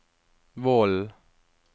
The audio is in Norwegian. Vollen